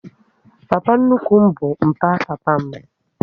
Papa nnukwu m bụ mpa papa m